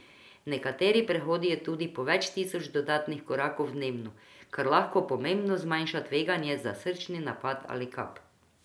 Nekateri prehodijo tudi po več tisoč dodatnih korakov dnevno, kar lahko pomembno zmanjša tveganje za srčni napad ali kap.